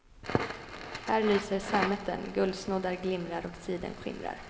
Här lyser sammeten, guldsnoddar glimrar och siden skimrar.